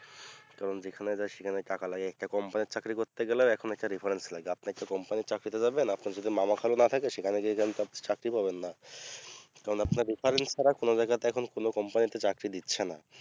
কারণ যেখানেই যাই সেখানেই টাকা লাগে একটা company র চাকরি করতে গেলেও এখন একটা reference লাগে আপনি যে company র চাকরিতে যাবেন আপনার যদি মামা খালু না থাকে সেখানে গিয়ে কিন্তু আপনি চাকরি পাবেন না কারণ আপনার reference ছাড়া কোনো জায়গাতে এখন কোনো company তে চাকরি দিচ্ছে না